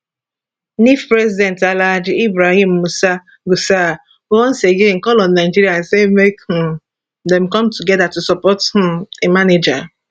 nff president alhaji ibrahim musa gusau once again call on nigeria say make um dem come togeda to support um di manager